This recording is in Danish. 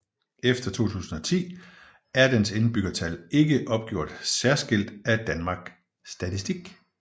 Efter 2010 er dens indbyggertal ikke opgjort særskilt af Danmark Statistik